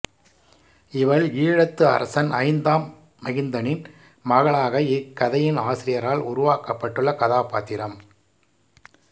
இவள் ஈழத்து அரசன் ஐந்தாம் மகிந்தனின் மகளாக இக்கதையின் ஆசிரியரால் உருவாக்கப்பட்டுள்ள கதாபாத்திரம்